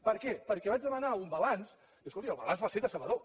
per què perquè vaig demanar un balanç i escolti el balanç va ser decebedor